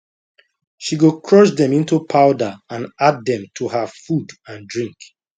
she go crush dem into powder and add dem to her food and drink